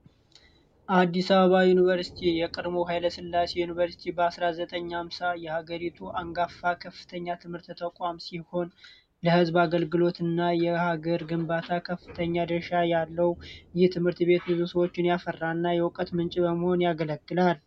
አዲስ አበባ ዩኒቨርስቲ የቀድሞው ኋይለ ስላሴ ዩኒቨርስቲ 1950 የሀገሪቱ አንጋፋ ከፍተኛ የትምህርት ተቋም ሲሆን የህዝብ አገልግሎት እና የሀገር ግንባታ ከፍተኛ ድርሻ ያለው ይህ ትምህርት ቤት ብዙ ሰዎችን ያፈራ የእዉቀት ምንጭ በመሆን ያገለግላል።